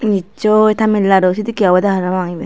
nissoi tamil nadu sedekkey obodey parapang iben.